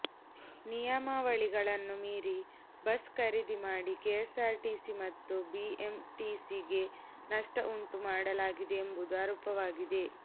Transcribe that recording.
ನಿಯಮಾವಳಿಗಳನ್ನು ಮೀರಿ ಬಸ್ ಖರೀದಿ ಮಾಡಿ ಕೆಎಸ್ಆರ್ಟಿಸಿ ಮತ್ತು ಬಿಎಂಟಿಸಿಗೆ ನಷ್ಟ ಉಂಟು ಮಾಡಲಾಗಿದೆ ಎಂಬುದು ಆರೋಪವಾಗಿದೆ